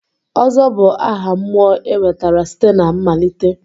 Ozo bụ aha mmụọ e nwetara site na mmalite.